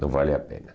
Não vale a pena.